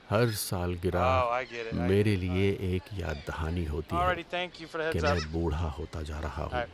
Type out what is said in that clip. ہر سالگرہ میرے لیے ایک یاد دہانی ہوتی ہے کہ میں بوڑھا ہوتا جا رہا ہوں۔